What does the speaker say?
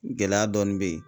Gɛlɛya dɔɔnin bɛ ye.